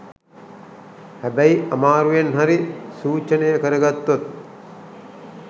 හැබැයි අමාරුවෙන් හරි සූචනය කරගත්තොත්